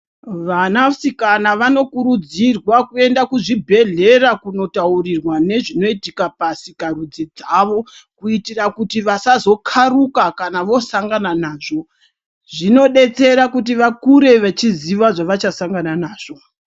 Vana sikana vanokurudzirwa kuenda kuzvibhedhlera kundotaurirwa nezvinoitika pasika rudzi dzawo kuitira kuti vasazokaruka kana vosangana nazvo zvinodetsera kuti vakure vachiziva zvavachasangana nazvo.